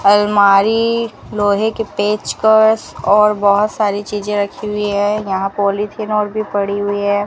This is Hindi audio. अलमारी लोहे के पेचकस और बहुत सारी चीजें रखी हुई है यहां पॉलीथिन और भी पड़ी हुई है।